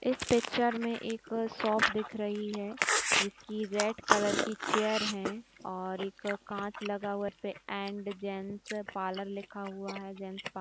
इस पिक्चर में एक शॉप दिख रही है जिसकी रेड कलर की चेयर हैं और एक कांच लगा हुआ है जिसपे एंड जेंट्स पार्लर लिखा हुआ है जेंट्स पा--